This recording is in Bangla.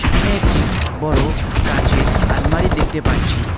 সামনে একটি বড় কাঁচের আলমারি দেখতে পারছি।